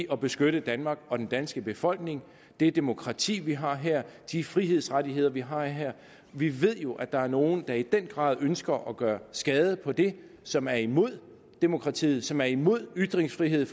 at beskytte danmark og den danske befolkning det demokrati vi har her og de frihedsrettigheder vi har her vi ved jo at der er nogle der i den grad ønsker at gøre skade på det som er imod demokratiet som er imod ytringsfriheden